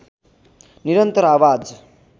निरन्तर आवाज